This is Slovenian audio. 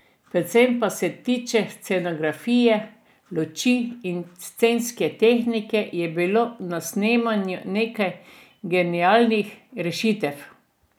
Predvsem kar se tiče scenografije, luči in scenske tehnike je bilo na snemanju nekaj genialnih rešitev.